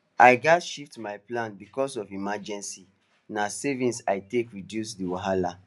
i gats shift my plans because of emergency na savings i take reduce the wahala